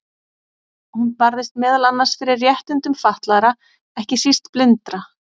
Hún barðist meðal annars fyrir réttindum fatlaðra, ekki síst blindra.